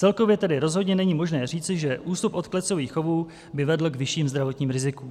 Celkově tedy rozhodně není možné říci, že ústup od klecových chovů by vedl k vyšším zdravotním rizikům.